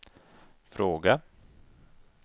fråga